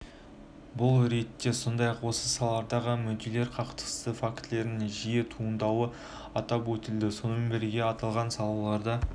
бұл ретте сондай-ақ осы салалардағы мүдделер қақтығысы фактілерінің жиі туындауы атап өтілді сонымен бірге аталған салаларда